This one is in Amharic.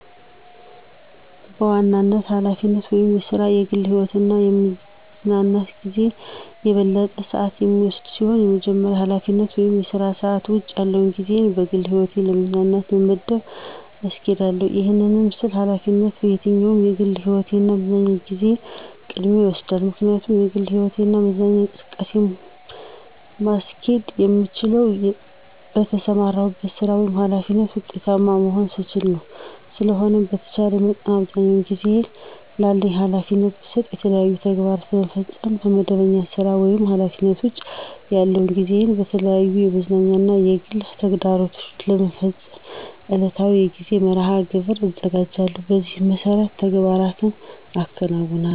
በዋናነት ኃላፊነት ወይም ሥራ ከግል ህይወቴ እና ከምዝናናበት ጊዜ የበለጠውን ሰአት የሚወስድ ሲሆን ከመደበኛ ኃላፊነት ወይም የሥራ ሰዓት ውጭ ያለውን ጊዜየን ለግል ህይወትና ለመዝናኛ በመመደብ አስኬዳለሁ። ይህን ስል ኃላፊነት ከየትኛውም የግል ህይወቴ እና የመዝናኛ ጊዜየ ቅድሚያውን ይወስዳል። ምክንያቱም የግል ህይወትና መዝናኛ እንቅስቃሴን ማስኬድ የምችለው በተሰማራሁበት ሥራ ወይም ኃላፊነት ውጤታማ መሆን ስችል ነው። ስለሆነም በተቻለኝ መጠን አብዛኛውን ጊዜየን ላለኝ ኃላፊነት ብሰጥም የተለያዩ ተግባራትን ለመፈፀም ከመደበኛ ሥራ ወይም ኃላፊነት ውጭ ያለውን ጊዜየን በተለያዩ የመዝናኛ እና የግል ተግባሮቸን ለመፈፀም ዕለታዊ የጊዜ መርሐ-ግብር አዘጋጃለሁ። በዚህ መሠረትም ተግባራትን አከናውናለሁ።